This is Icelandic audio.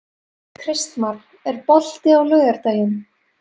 Kristmar, er bolti á laugardaginn?